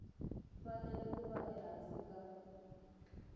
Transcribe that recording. fanele ku va ehansi ka